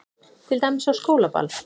Til dæmis á skólaball.